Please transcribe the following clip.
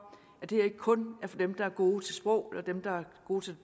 at det her ikke kun er for dem der er gode til sprog eller dem der er gode til